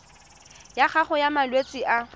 ya gago ya malwetse a